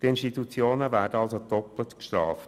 Die Institutionen werden also doppelt bestraft: